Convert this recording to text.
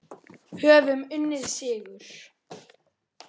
Höfum unnið sigur.